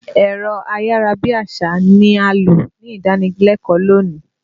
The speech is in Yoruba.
Ẹ̀rọ ayàra bí àṣá ni a lò nídànílẹ́kọ̀ọ́ lónìí.